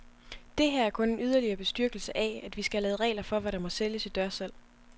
Det her er kun en yderligere bestyrkelse af, at vi skal have lavet regler for, hvad der må sælges i dørsalg.